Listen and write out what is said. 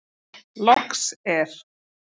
Loks er.